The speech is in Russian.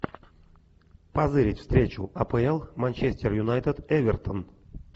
позырить встречу апл манчестер юнайтед эвертон